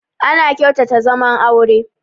Ana kyautata zaman aure